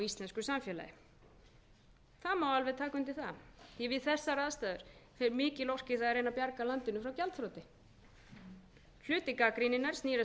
íslensku samfélagi það má alveg taka undir það því við þessar aðstæður fer mikil orka í það að reyna að bjarga landinu frá gjaldþroti hluti gagnrýninnar snýr að